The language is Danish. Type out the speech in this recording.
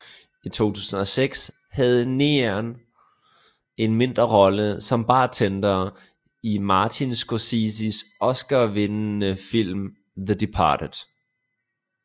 I 2006 havde Neenan en mindre rolle som bartender i Martin Scorseses oscarvindende film The Departed